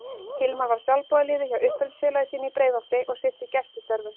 Hilmar var sjálfboðaliði hjá uppeldisfélagi sínu í Breiðholti og sinnti gæslustörfum.